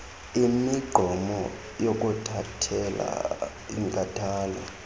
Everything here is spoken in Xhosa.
imigqomo yokuthandela inkathalo